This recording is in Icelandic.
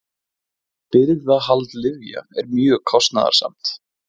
Birgðahald lyfja er mjög kostnaðarsamt.